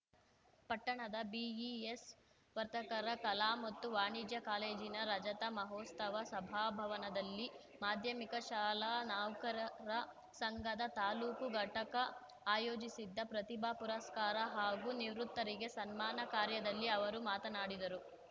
ಪಟ್ಟಣದ ಬಿಇಎಸ್ ವರ್ತಕರ ಕಲಾ ಮತ್ತು ವಾಣಿಜ್ಯ ಕಾಲೇಜಿನ ರಜತ ಮಹೋತ್ಸವ ಸಭಾಭವನದಲ್ಲಿ ಮಾಧ್ಯಮಿಕ ಶಾಲಾ ನೌಕರರ ಸಂಘದ ತಾಲ್ಲೂಕು ಘಟಕ ಆಯೋಜಿಸಿದ್ದ ಪ್ರತಿಭಾ ಪುರಸ್ಕಾರ ಹಾಗೂ ನಿವೃತ್ತರಿಗೆ ಸನ್ಮಾನ ಕಾರ್ಯದಲ್ಲಿ ಅವರು ಮಾತನಾಡಿದರು